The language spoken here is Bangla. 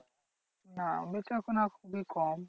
না বেচাকেনা খুবই কম।